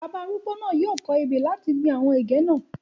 Bàbá arúgbó náà yìí ó kọ̀ ebè láti gbìn àwọn ẹ̀gẹ́ náà